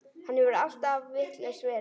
Hann hefur alltaf vitlaus verið.